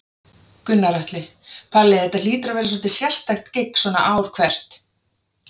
Gunnar Atli: Palli, þetta hlýtur að vera svolítið sérstakt gigg svona ár hvert?